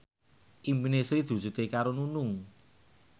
impine Sri diwujudke karo Nunung